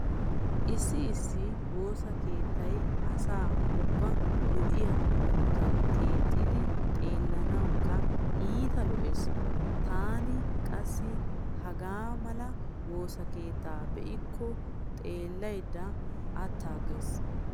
Issi issi woosa keettay asa ubbaa lo'iya hanotan keexettidi xeellanawukka iita lo'ees. Taani qassi hegaa mala woosa keettaa be'ikko xeellaydda attaaggays.